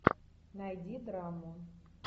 найди драму